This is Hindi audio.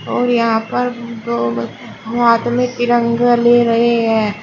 और यहा पर दो ब हाथ में तिरंगा ले रहे हैं।